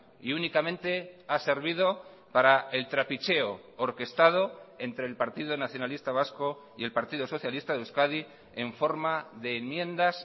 y únicamente ha servido para el trapicheo orquestado entre el partido nacionalista vasco y el partido socialista de euskadi en forma de enmiendas